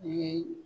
U ye